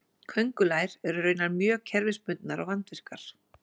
Köngulær eru raunar mjög kerfisbundnar og vandvirkar.